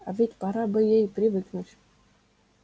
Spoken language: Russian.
а ведь пора бы ей и привыкнуть